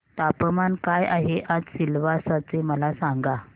तापमान काय आहे आज सिलवासा चे मला सांगा